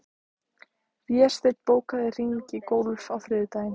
Vésteinn, bókaðu hring í golf á þriðjudaginn.